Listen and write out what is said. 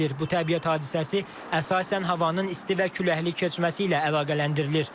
Bu təbiət hadisəsi əsasən havanın isti və küləkli keçməsi ilə əlaqələndirilir.